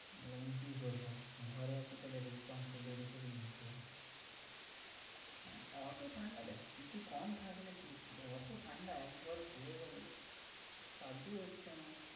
তাহলে আমি করবো ঘরে আছি তাহলে responsibility তোকে দিতেই হবে। অত ঠান্ডা দেখ কিছু কম থাকলে ঠিক ছিল, এত ঠান্ডা একবারে পুরো সহ্যই হচ্ছে না।